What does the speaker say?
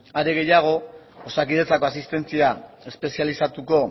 are gehiago osakidetzako asistentzia espezializatuko